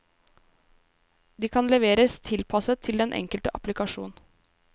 De kan leveres tilpasset den enkelte applikasjon.